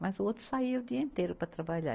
mas o outro saía o dia inteiro para trabalhar.